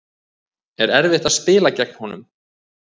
Eða erfitt að spila gegn honum?